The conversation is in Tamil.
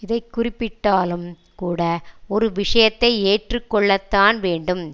இதை குறிப்பிட்டாலும் கூட ஒரு விஷயத்தை ஏற்றுக்கொள்ளத்தான் வேண்டும்